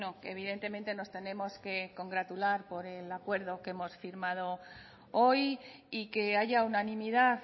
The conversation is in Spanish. que evidentemente nos tenemos que congratular por el acuerdo que hemos firmado hoy y que haya unanimidad